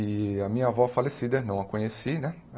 E a minha avó falecida, não a conheci, né?